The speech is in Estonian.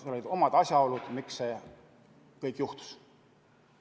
Seal olid mängus omad asjaolud, miks see kõik juhtus.